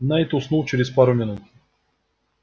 найд уснул через пару минут